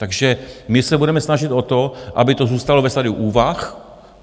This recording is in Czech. Takže my se budeme snažit o to, aby to zůstalo ve stadiu úvah.